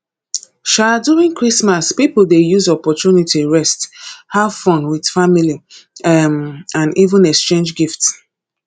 um during christmas pipo dey use opportunity rest have fun with family um and even exchange gifts